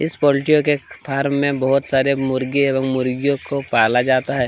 इस पोलटियो के फार्म मे बहोत सारे मुर्गे एवं मुर्गियों को पाला जाता हैं।